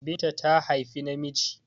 Binta ta haifi namiji